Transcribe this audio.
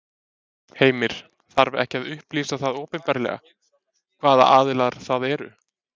Heimir: Þarf ekki að upplýsa það opinberlega, hvaða aðilar það eru?